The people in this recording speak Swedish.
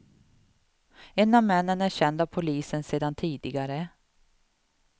En av männen är känd av polisen sedan tidigare.